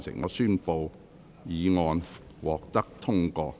我宣布議案獲得通過。